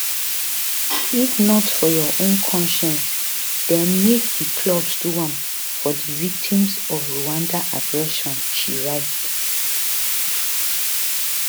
if not for your own consciences den make di clubs do am um for di victims of rwandan aggression she write